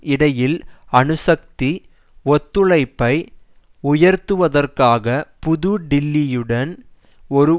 இடையில் அணு சக்தி ஒத்துழைப்பை உயர்த்துவதற்காக புது டில்லியுடன் ஒரு